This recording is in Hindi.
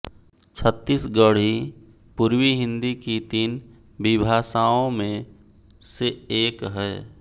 छत्तीसगढ़ी पूर्वी हिंदी की तीन विभाषाओं में से एक है